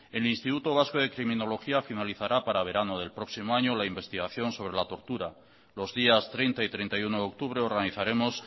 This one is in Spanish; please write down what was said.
el instituto vasco de criminología finalizará para verano del próximo año la investigación sobre la tortura los días treinta y treinta y uno de octubre organizaremos